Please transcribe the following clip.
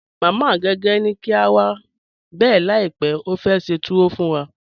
Mama Agẹgẹ ni kí a wá bẹ láípè, ó fẹ́ ṣẹ́ tùwọ̀ fún wà.